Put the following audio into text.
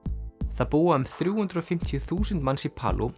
það búa um þrjú hundruð og fimmtíu þúsund manns í